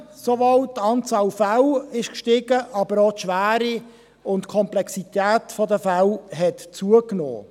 Es ist sowohl die Anzahl der Fälle gestiegen, aber auch die Schwere und die Komplexität der Fälle hat zugenommen.